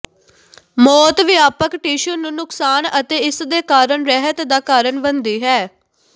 ਮੌਤ ਵਿਆਪਕ ਟਿਸ਼ੂ ਨੂੰ ਨੁਕਸਾਨ ਅਤੇ ਇਸ ਦੇ ਕਾਰਨ ਰਹਿਤ ਦਾ ਕਾਰਨ ਬਣਦੀ ਹੈ